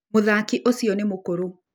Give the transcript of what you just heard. Mũthaki ũcio nĩ mũkũrũ.